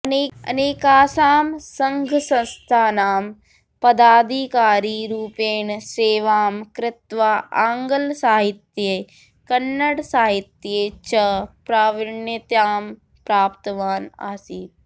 अनेकासां सङ्घसंस्थानां पदाधिकारिरूपेण सेवां कृत्वा आङ्गलसाहित्ये कन्नडसाहित्ये च प्राविण्यतां प्राप्तवान् आसीत्